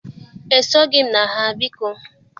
E soghị m na ha, biko.